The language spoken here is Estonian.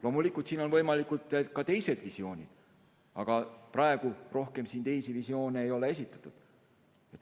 Loomulikult on võimalikud ka teised visioonid, aga praegu neid rohkem esitatud ei ole.